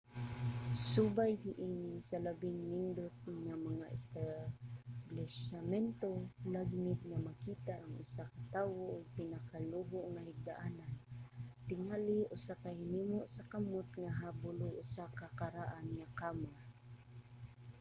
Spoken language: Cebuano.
subay niini sa labing nindot nga mga establisamento lagmit nga makakita ang usa ka tawo og pinakaluho nga higdaanan tingali usa ka hinimo sa kamot nga habol o usa ka karaan nga kama